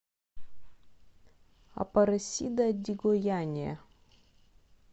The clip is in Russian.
апаресида ди гояния